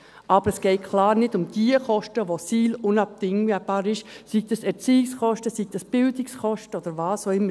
Aber es geht klar nicht um jene Kosten, wo die SIL unabdingbar sind, seien dies Erziehungskosten, seien dies Bildungskosten oder was auch immer.